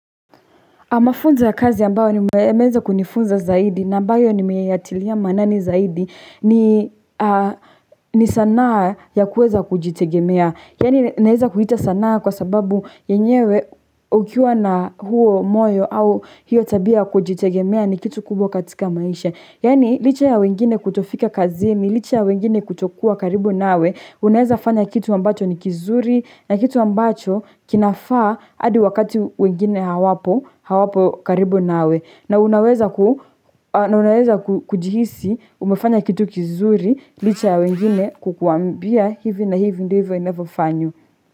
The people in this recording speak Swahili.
Amafunza ya kazi ambayo ni nimeweza kunifunza zaidi, na ambayo nimeyatilia maanani zaidi, ni sanaa ya kuweza kujitegemea. Yaani naweza kuita sanaa kwa sababu yenyewe ukiwa na huo moyo au hiyo tabia kujitegemea ni kitu kubwa katika maisha. Yaani licha ya wengine kutofika kazini, licha ya wengine kutokua karibu nawe, unaweza fanya kitu ambacho ni kizuri na kitu ambacho kinafaa hadi wakati wengine hawapo. Wapo karibu nawe na unaweza kujihisi umefanya kitu kizuri licha ya wengine kukuambia hivi na hivi ndivyo inavyofanywa.